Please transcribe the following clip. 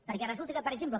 perquè resulta per exemple